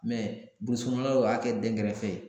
Mɛ burusu kɔnɔnaw y'a kɛ dengɛrɛfɛ ye